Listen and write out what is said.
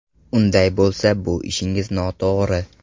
Unday bo‘lsa, bu ishingiz noto‘g‘ri.